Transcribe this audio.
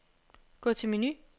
Gå til menu.